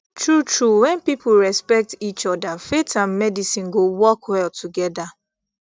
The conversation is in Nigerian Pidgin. true true when people respect each other faith and medicine go work well together